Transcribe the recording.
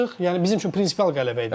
Yəni bizim üçün prinsipial qələbə idi.